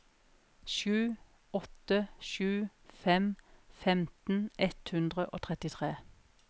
sju åtte sju fem femten ett hundre og trettitre